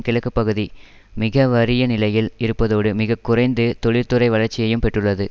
கிழக்கு பகுதி மிக வறிய நிலையில் இருப்பதோடு மிக குறைந்து தொழிற்துறை வளர்ச்சியையும் பெற்றுள்ளது